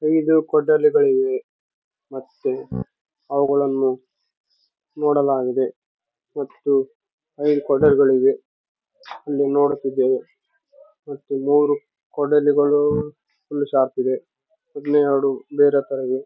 ಐದು ಕೊಡಲಿಗಳಿವೆ ಮತ್ತೆ ಅವುಗಳನ್ನು ನೋಡಲಾಗಿದೆ ಮತ್ತು ಐದು ಕೊಡಲಿಗಳಿವೆ ಅಲ್ಲಿ ನೋಡುತ್ತಿದ್ದೇವೆ ಮತ್ತು ಮೂರು ಕೊಡಲಿಗಳು ಫುಲ್‌ ಶಾರ್ಪ್‌ ಇದೆ ಇನ್ನೆರೆಡು ಬೇರೆ ತರ ಇದೆ.